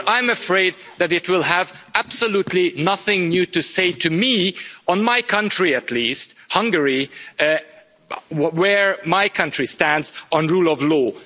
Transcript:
But I'm afraid that it will have absolutely nothing new to say to me on my country at least, Hungary, where my country stands on rule of law.